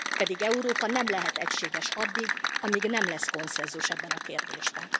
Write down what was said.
Pedig Európa nem lehet egységes addig, amíg nem lesz konszenzus ebben a kérdésben.